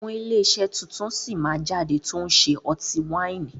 Àwọn ilé iṣẹ́ tuntun sí máa jáde tòun ṣe ọtí wáìnì